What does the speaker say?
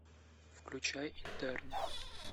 включай интерны